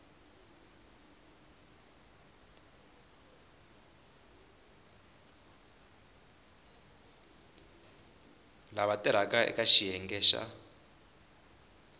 lava tirhaka eka xiyenge xa